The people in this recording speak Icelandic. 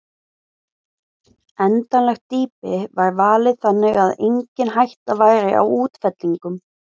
Endanlegt dýpi var valið þannig að engin hætta væri á útfellingum.